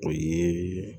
O ye